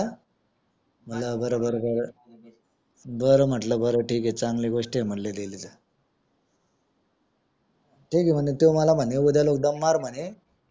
ठीके म्हणे तो मला म्हणे उद्याला जमणार म्हणे